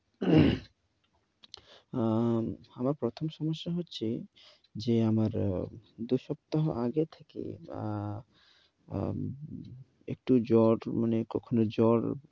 অ্যা আমার প্রথম সমস্যা হচ্ছে, যে আমার দুই সপ্তাহ আগে থেকে একটু জ্বর, মানে কখনো জ্বর